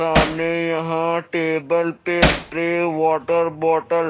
सामने यहां टेबल पे स्प्रे वॉटर बॉटल --